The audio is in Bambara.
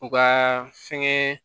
U ka fɛnkɛ